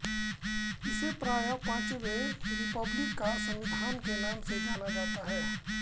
इसे प्रायः पांचवें रिपब्लिक का संविधान के नाम से जाना जाता है